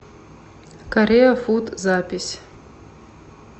корея фуд запись